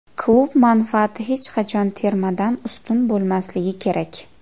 Klub manfaati hech qachon termadan ustun bo‘lmasligi kerak!